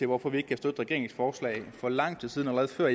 hvorfor vi ikke kan støtte regeringens forslag for lang tid siden allerede før